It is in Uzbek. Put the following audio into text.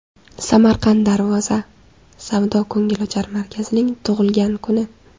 Samarqand Darvoza savdo-ko‘ngilochar markazining tug‘ilgan kuni.